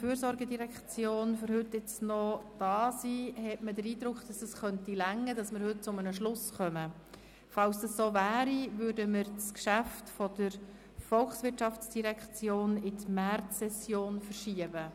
Falls wir heute die Geschäfte der GEF abschliessen könnten, würden wir das Geschäft der VOL auf die Märzsession verschieben.